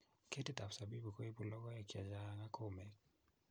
Ketitap zabibu kuibu lokoek chichang ak komek